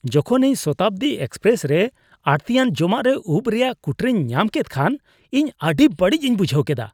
ᱡᱚᱠᱷᱚᱱ ᱤᱧ ᱥᱚᱛᱟᱵᱫᱤ ᱮᱠᱥᱯᱨᱮᱥ ᱨᱮ ᱟᱹᱲᱛᱤᱭᱟᱱ ᱡᱚᱢᱟᱜ ᱨᱮ ᱩᱯ ᱨᱮᱭᱟᱜ ᱠᱩᱴᱨᱟᱹᱧ ᱧᱟᱢ ᱠᱮᱫ ᱠᱷᱟᱱ ᱤᱧ ᱟᱹᱰᱤ ᱵᱟᱹᱲᱤᱡ ᱤᱧ ᱵᱩᱡᱷᱟᱹᱣ ᱠᱮᱫᱟ ᱾